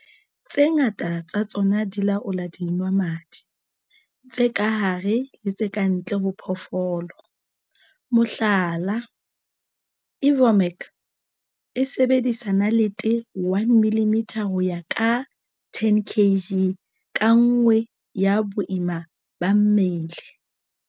Tse ngata tsa tsona di laola dinwamadi tse ka hare le tse ka ntle ho phoofolo, mohlala, Ivomec e sebedisang nalete 1 mm ho ya ka 10 kg ka nngwe ya boima ba mmele.